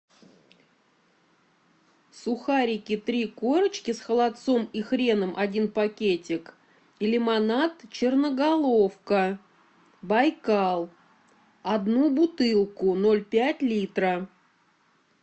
сухарики три корочки с холодцом и хреном один пакетик и лимонад черноголовка байкал одну бутылку ноль пять литра